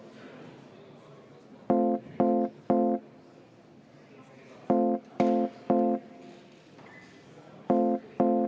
Helle-Moonika Helme, palun!